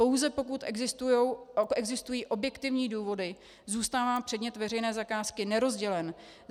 Pouze pokud existují objektivní důvody, zůstává předmět veřejné zakázky nerozdělen.